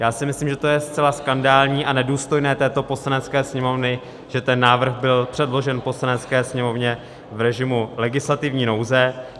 Já si myslím, že to je zcela skandální a nedůstojné této Poslanecké sněmovny, že ten návrh byl předložen Poslanecké sněmovně v režimu legislativní nouze.